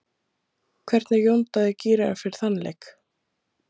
Hvernig er Jón Daði gíraður fyrir þann leik?